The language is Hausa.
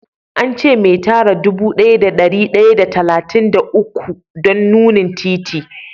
An ce me tara dude daya da dari daya da talatin da uku don nunni titi.